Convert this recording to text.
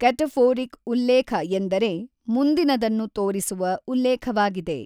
Cataphoric ಉಲ್ಲೇಖ ಎಂದರೆ ಮುಂದಿನದನ್ನು ತೋರಿಸುವ ಉಲ್ಲೇಖವಾಗಿದೆ.